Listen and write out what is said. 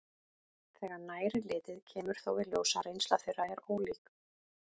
Þegar nær er litið kemur þó í ljós að reynsla þeirra er ólík.